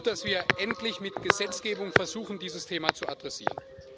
Es ist gut, dass wir endlich mit Gesetzgebung versuchen, dieses Thema zu adressieren.